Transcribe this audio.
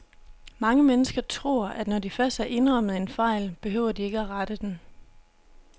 Mange mennesker tror, at når de først har indrømmet en fejl, behøver de ikke at rette den.